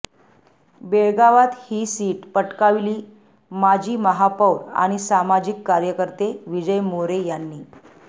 बेळगावात ही सीट पटकाविली माजी महापौर आणि सामाजिक कार्यकर्ते विजय मोरे यांनी